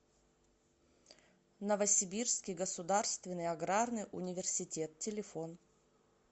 новосибирский государственный аграрный университет телефон